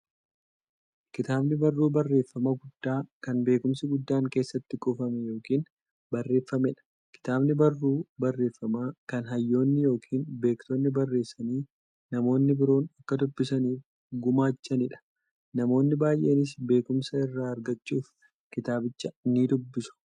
Kitaabni barruu barreeffamaa guddaa, kan beekumsi guddaan keessatti kuufame yookiin barreeffameedha. Kitaabni barruu barreeffamaa, kan hayyoonni yookiin beektonni barreessanii, namni biroo akka dubbisaniif gumaachaniidha. Namoonni baay'eenis beekumsa irraa argachuuf kitaabicha nidubbisu.